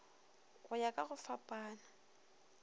go ya ka go fapana